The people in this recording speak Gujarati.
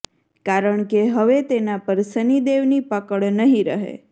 કારણ કે હવે તેના પર શનિદેવની પકડ નહીં રહે